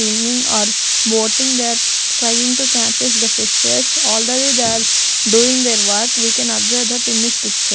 swimming or boating that trying to catches the fishes already there doing their work we can observe that in this picture.